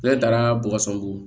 Ne taara bɔgɔso ko